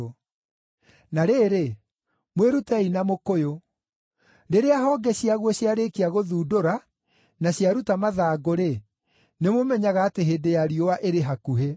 “Na rĩrĩ, mwĩrutei na mũkũyũ: Rĩrĩa honge ciaguo ciarĩkia gũthundũra na ciaruta mathangũ-rĩ, nĩmũmenyaga atĩ hĩndĩ ya riũa ĩrĩ hakuhĩ.